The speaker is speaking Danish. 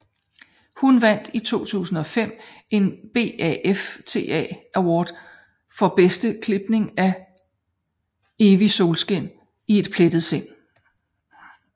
Hun vandt i 2005 en BAFTA Award for bedste klipning for Evigt solskin i et pletfrit sind